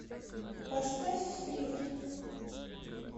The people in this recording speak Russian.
поставь флирт